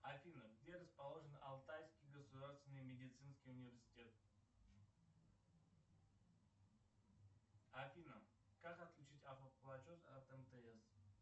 афина где расположен алтайский государственный медицинский университет афина как отключить автоплатеж от мтс